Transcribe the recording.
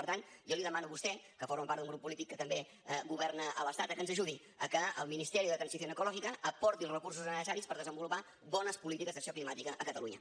per tant jo li demano a vostè que forma part d’un grup polític que també governa a l’estat que ens ajudi a que el ministeri de transición ecológica aporti els recursos necessaris per desenvolupar bones polítiques d’acció climàtica a catalunya